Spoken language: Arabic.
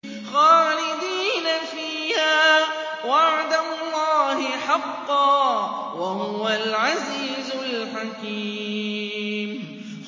خَالِدِينَ فِيهَا ۖ وَعْدَ اللَّهِ حَقًّا ۚ وَهُوَ الْعَزِيزُ الْحَكِيمُ